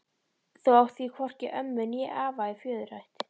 Þú átt því hvorki ömmu né afa í föðurætt.